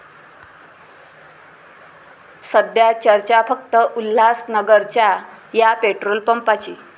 सध्या चर्चा फक्त उल्हासनगरच्या 'या' पेट्रोल पंपाची!